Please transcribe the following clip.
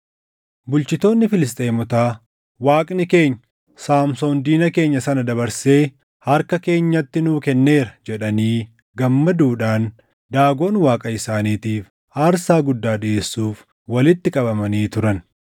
Bulchitoonni Filisxeemotaa, “Waaqni keenya, Saamsoon diina keenya sana dabarsee harka keenyatti nuu kenneera” jedhanii gammaduudhaan Daagon Waaqa isaaniitiif aarsaa guddaa dhiʼeessuuf walitti qabamanii turan.